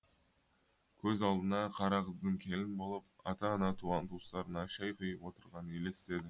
көз алдына қара қыздың келін болып ата ана туған туыстарына шәй құйып отырғаны елестеді